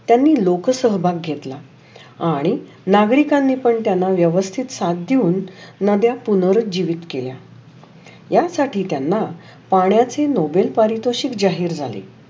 त्‍यानी लोक सहभाग घेतला. आणि नागरीकांनी पण त्‍याला व्यवस्थित साथ देऊन नव्‍या पुनोरीत जीवीत केल्या. या साठी त्‍यांना पाण्याची नोबल पारितोषीत जाहीर केली.